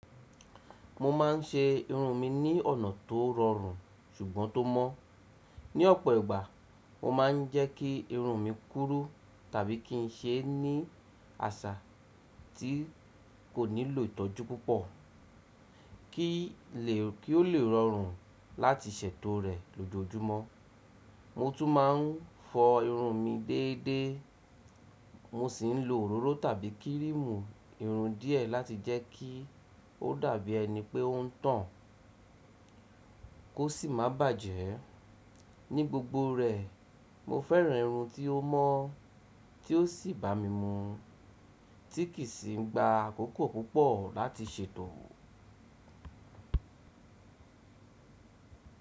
Mo ma ń ṣe irun mi ní ọ̀nà tó rọrùn ṣùgbọ́n tó mọ́. Ní ọ̀pọ̀ ìgbà, mo ma ń jẹ́ kí irun mi kúrú tàbí kí n ṣe ní àṣà tí kò nílò ìtọ́jú púpọ̀, kí ó lè rọrùn láti ṣètò rẹ̀ lójoojúmọ́. Mo tún ma ń fọ irun mi déédé, mo sì ń lo òróró tàbí kírìmù irun díẹ̀ láti jẹ́ kí ó dàbí ẹni pé ó ń tàn, kò sì má bàjẹ́. Ní gbogbo rẹ̀, mo fẹ́ràn irun tí ó mọ́, tí ó sì bá mi mu, tí kìí sì ń gba àkókò púpọ̀ láti ṣètò.